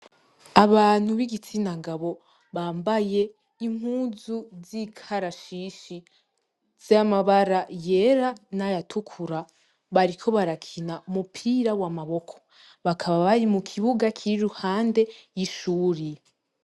Abantu b'igitsina gabo bambaye impuzu z'ikarashishi z'amabara yera n'ayatukura. Bariko barakina umupira w'amaboko. Bakaba bari mu kibuga kiri i ruhande y'ishuri.